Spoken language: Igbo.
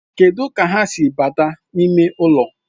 Kedu ka ha si bata n'ime ụlọ?